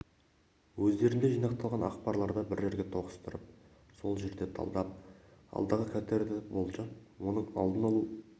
өздерінде жинақталған ақпарларды бір жерге тоғыстырып сол жерде талдап алдағы қатерді болжап оның алдын алу